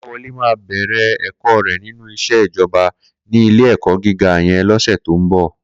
Kolawole má bèrè èkò rè ninú iṣé ijòbá ni ilé èkò gigá yèn lòsé tó n bò